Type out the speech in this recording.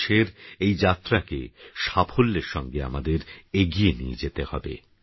২০১৯এরএইযাত্রাকেসাফল্যেরসঙ্গেআমাদেরএগিয়েনিয়েযেতেহবে